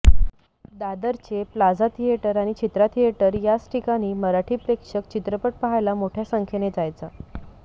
दादरचे plaza theatre आणि Chitra theatre याच ठिकाणी मराठी प्रेक्षक चित्रपट पाहायला मोठय़ा संख्येने जायचा